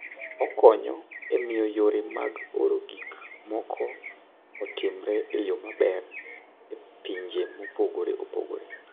Okonyo e miyo yore mag oro gik moko otimre e yo maber e pinje mopogore opogore.